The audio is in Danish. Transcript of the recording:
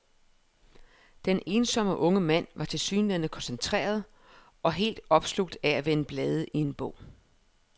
Den ensomme unge mand var tilsyneladende koncentreret og helt opslugt af at vende blade i en bog.